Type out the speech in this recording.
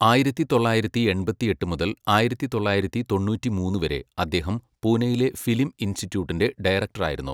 ആയിരത്തി തൊള്ളായിരത്തി എൺപത്തെട്ട് മുതൽ ആയിരത്തി തൊള്ളായിരത്തി തൊണ്ണൂറ്റിമൂന്ന് വരെ, അദ്ദേഹം പൂനെയിലെ ഫിലിം ഇൻസ്റ്റിറ്റ്യൂട്ടിൻ്റെ ഡയറക്ടറായിരുന്നു.